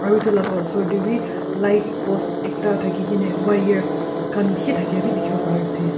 aru etu laga osor te wi light post ekta thakikene wire khan bishi thakia bi dikhibo pari ase.